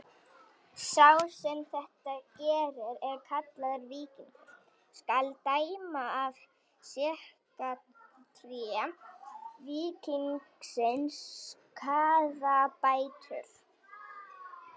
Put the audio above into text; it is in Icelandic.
Sá sem þetta gerir er kallaður víkingur: skal dæma af sektarfé víkingsins skaðabætur.